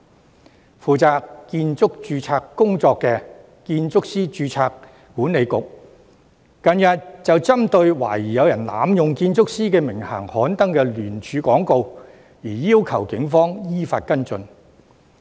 近日負責建築師註冊工作的建築師註冊管理局，便針對懷疑有人濫用建築師名銜刊登的聯署廣告，要求警方依法跟進。